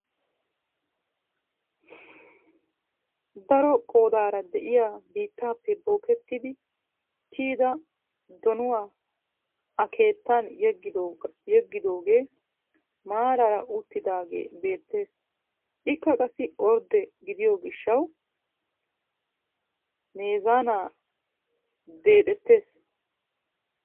Daro qoodara de'iyaa biittaappe bookettidi kiiyida donuwaa a keettan yeeggidoogee maaraara uttidagee beettees. ikka qassi ordde gidiyoo giishshawi meezaanaa deexettees.